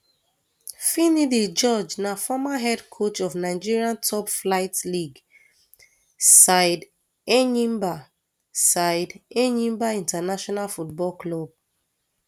finidi george na former head coach of nigeria toplflight league side enyimba side enyimba international football club